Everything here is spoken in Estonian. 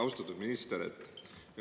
Austatud minister!